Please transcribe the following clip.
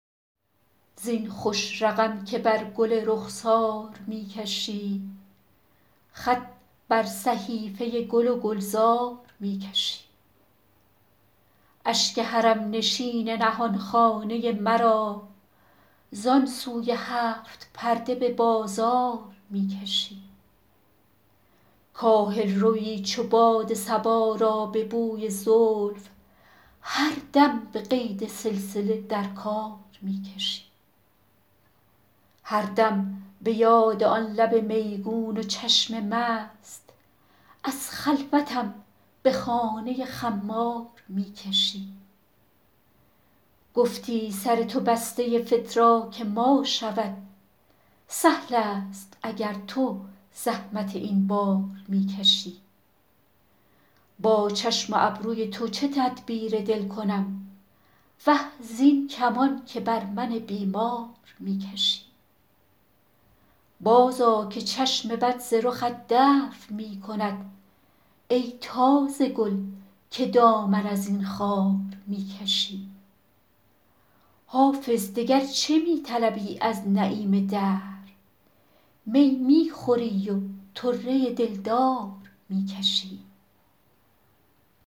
زین خوش رقم که بر گل رخسار می کشی خط بر صحیفه گل و گلزار می کشی اشک حرم نشین نهان خانه مرا زان سوی هفت پرده به بازار می کشی کاهل روی چو باد صبا را به بوی زلف هر دم به قید سلسله در کار می کشی هر دم به یاد آن لب میگون و چشم مست از خلوتم به خانه خمار می کشی گفتی سر تو بسته فتراک ما شود سهل است اگر تو زحمت این بار می کشی با چشم و ابروی تو چه تدبیر دل کنم وه زین کمان که بر من بیمار می کشی بازآ که چشم بد ز رخت دفع می کند ای تازه گل که دامن از این خار می کشی حافظ دگر چه می طلبی از نعیم دهر می می خوری و طره دلدار می کشی